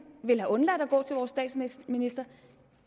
ville have undladt at gå til vores statsminister